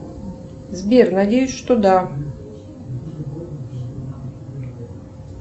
сбер надеюсь что да